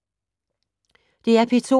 DR P2